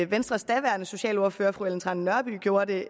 venstres daværende socialordfører fru ellen trane nørby gjorde det